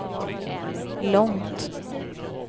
långt